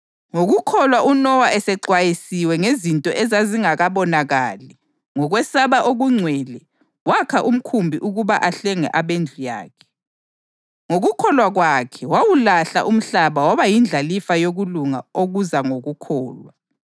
Ngokukholwa uNowa esexwayisiwe ngezinto ezazingakabonakali, ngokwesaba okungcwele wakha umkhumbi ukuba ahlenge abendlu yakhe. Ngokukholwa kwakhe wawulahla umhlaba waba yindlalifa yokulunga okuza ngokukholwa.